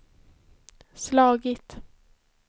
slagit